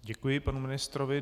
Děkuji panu ministrovi.